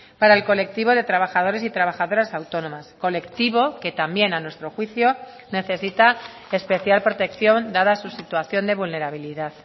para el colectivo de trabajadores y trabajadoras autónomas colectivo que también a nuestro juicio necesita especial protección dada su situación de vulnerabilidad